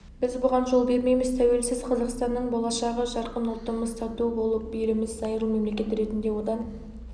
біз бұған жол бермейміз тәуелсіз қазақстанның болашағы жарқын ұлтымыз тату болып еліміз зайырлы мемлекет ретінде одан